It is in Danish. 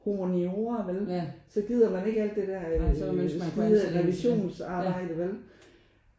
Humaniora vel så gider man ikke alt det der skide revisionsarbejde vel